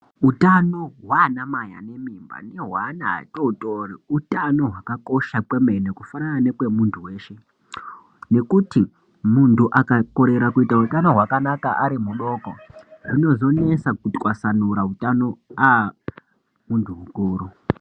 Utano hwanamai ane mimba nehwaana atotori utano hwakakosha kwemene kufanana nekwe muntu veshe. Nekuti muntu akakorera kuita utano hwakanaka ari mudoko zvinozonesa kutwasanura hutano aa muntu mukuru.